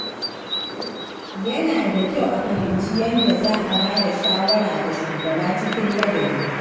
Yana da kyau a fahimci yadda za a ba da shawara ga shugaba cikin ladabi.